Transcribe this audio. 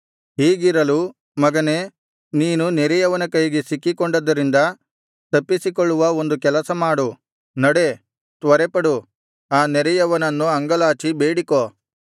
ಹೀಗಿರಲು ಮಗನೇ ನೀನು ನೆರೆಯವನ ಕೈಗೆ ಸಿಕ್ಕಿಕೊಂಡದ್ದರಿಂದ ತಪ್ಪಿಸಿಕೊಳ್ಳುವ ಒಂದು ಕೆಲಸ ಮಾಡು ನಡೆ ತ್ವರೆಪಡು ಆ ನೆರೆಯವನನ್ನು ಅಂಗಲಾಚಿ ಬೇಡಿಕೋ